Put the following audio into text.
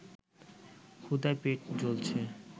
ক্ষুধায় পেট জ্বলছে